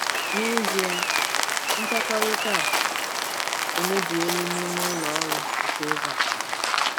N’ezie, nkwekọrịta a emebiela n’ime ụlọ ọrụ nke oge a.